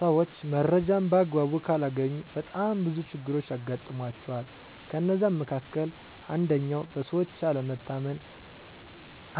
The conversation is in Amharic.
ሰዎች መረጃን በአግባቡ ካላገኙ በጣም ብዙ ችግሮች ያጋጥሟቸዋል ከነዛ መካከል አንደኛው በሰዎች አለመታመን